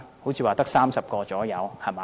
好像只有30人左右，對嗎？